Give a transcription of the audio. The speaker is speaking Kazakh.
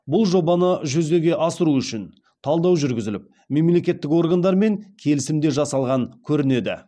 бұл жобаны жүзеге асыру үшін талдау жүргізіліп мемлекеттік органдармен келісім де жасалған көрінеді